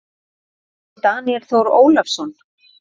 eftir Daníel Þór Ólason